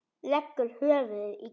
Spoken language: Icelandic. Leggur höfuðið í kjöltu hennar.